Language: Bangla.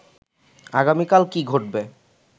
আগামীকাল কী ঘটবে